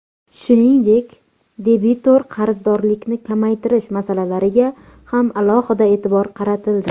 Shuningdek, debitor qarzdorlikni kamaytirish masalalariga ham e’tibor qaratildi.